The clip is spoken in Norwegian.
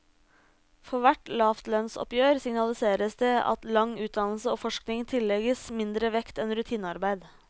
For hvert lavtlønnsoppgjør signaliseres det at lang utdannelse og forskning tillegges mindre vekt enn rutinearbeid.